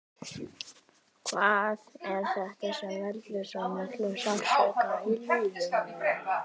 Hvað er þetta sem veldur svo miklum sársauka í lífinu?